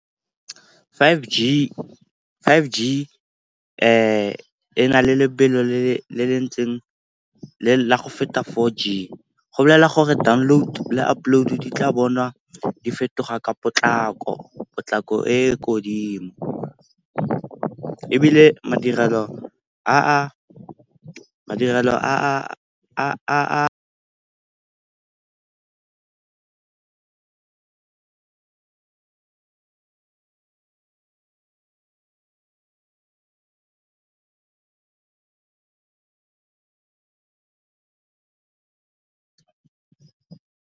Five G, Five G e na le lebelo la go feta four G. Go bolelela gore download le upload di tla bonwa di fetoga ka potlako, potlako e ko godimo. Ebile madirelo a.